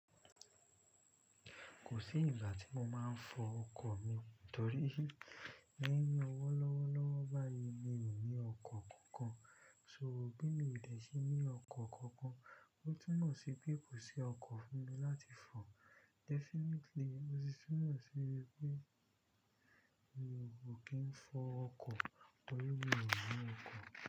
Kò sí ìgbà tí mo máa ń fọ ọkọ̀ mi torí lẹ́yìn ọwọ́ lọ́wọ́lọ́wọ́ báyìí, mi ò ní ọkọ̀ kankan. So bí mi ò dẹ̀ sí ní ọkọ̀ kankan, ó túnmọ̀ sí pé kò sí ọkọ̀ fún mi láti fọ. Definitely, ó sì túnmọ̀ sí pé mi ò kí ń fọ ọkọ̀ torí mi ò ní ọkọ̀.